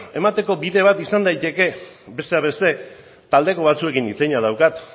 emateko bide bat izan daiteke besteak beste taldeko batzuekin hitz egina daukat